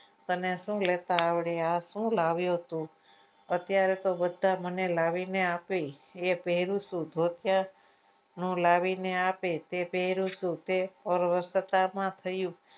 તને શું લેતા આવડે આ શું લાવ્યું તું અત્યારે તો બધા મને લાવીને આપે એ પહેરું છું ધોતિયા હું લાવીને આપે એ પહેરું છું એ તે